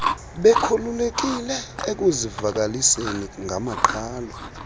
bekhululekile ekuzivakaliseni ngamaqhalo